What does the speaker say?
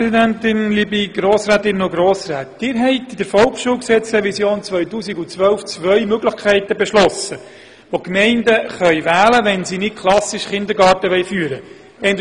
Sie haben anlässlich der Volksschulgesetzrevision 2012 zwei Möglichkeiten beschlossen, zwischen denen die Gemeinden wählen können, wenn sie nicht einen klassischen Kindergarten führen wollen: